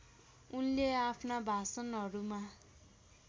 उनले आफ्ना भाषणहरूमा